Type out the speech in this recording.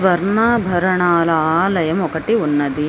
స్వర్ణాభరణాల ఆలయం ఒకటి ఉన్నది.